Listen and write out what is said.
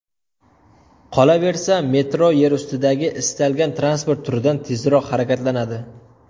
Qolaversa, metro yer ustidagi istalgan transport turidan tezroq harakatlanadi.